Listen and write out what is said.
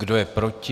Kdo je proti?